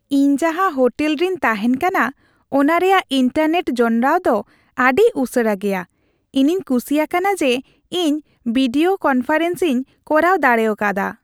ᱤᱧ ᱡᱟᱦᱟᱸ ᱦᱳᱴᱮᱞ ᱨᱤᱧ ᱛᱟᱦᱮᱱ ᱠᱟᱱᱟ ᱚᱱᱟ ᱨᱮᱭᱟᱜ ᱤᱱᱴᱟᱨᱱᱮᱴ ᱡᱚᱱᱚᱲᱟᱣ ᱫᱚ ᱟᱹᱰᱤ ᱩᱥᱟᱹᱨᱟ ᱜᱮᱭᱟ ᱾ᱤᱧᱤᱧ ᱠᱩᱥᱤ ᱟᱠᱟᱱᱟ ᱡᱮ ᱤᱧ ᱵᱷᱤᱰᱤᱭᱳ ᱠᱚᱱᱯᱷᱟᱨᱮᱱᱥᱤᱧ ᱠᱚᱨᱟᱣ ᱫᱟᱲᱮ ᱠᱟᱣᱫᱟ ᱾